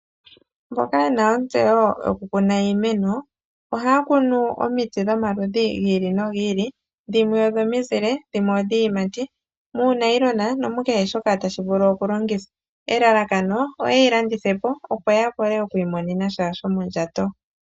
Mboka yena ontseyo yokukuna iimeno, ohaa kunu omiti dhomaludhi gili nogili, dhimwe odhimizile nodhimwe odhiiyimati muunayilona nomukehe shoka tashi vulu okulongithwa. Elalakano oyeyi landithepo opo yavule okwiimonena sha shomondjato.